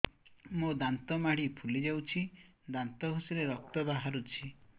ମୋ ଦାନ୍ତ ମାଢି ଫୁଲି ଯାଉଛି ଦାନ୍ତ ଘଷିଲେ ରକ୍ତ ବାହାରୁଛି